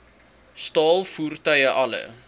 staal voertuie alle